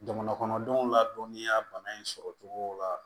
Jamana kɔnɔdenw ladɔniya bana in sɔrɔ cogo la